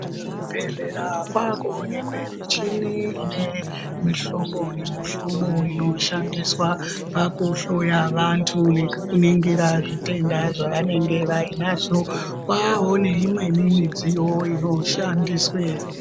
Kuzvibhedhlera kwakuwonekwe michini ine mihlobo nemihlobo inoshandiswa pakuhloya vantu nekuningira zvitenda zvevainenge vainazvo, Kwaaneimwewo midziyo inoshandiswa.